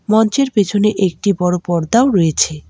মঞ্চের পেছনে একটি বড়ো পর্দাও রয়েছে।